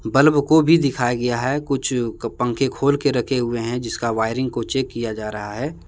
Bulb को भी दिखाया गया है कुछ पंखे खोल के रखे हुए हैं जिसका वायरिंग को चेक किया जा रहा है।